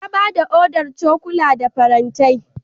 Ya bayar da odar cokula da farantai.